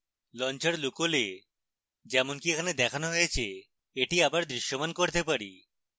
launcher লুকোলে যেমনকি এখানে দেখানো হয়েছে এটি আবার দৃশ্যমান করতে পারি